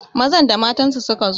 Mazan da matansu suka zo